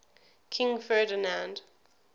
king ferdinand